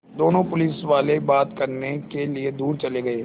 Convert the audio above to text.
दोनों पुलिसवाले बात करने के लिए दूर चले गए